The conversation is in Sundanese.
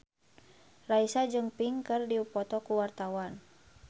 Raisa jeung Pink keur dipoto ku wartawan